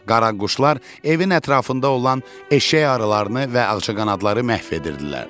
Qaraquşlar evin ətrafında olan eşşək arılarını və ağcaqanadları məhv edirdilər.